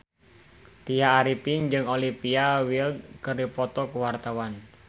Tya Arifin jeung Olivia Wilde keur dipoto ku wartawan